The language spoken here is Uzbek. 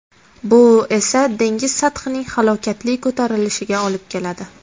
Bu esa dengiz sathining halokatli ko‘tarilishiga olib keladi.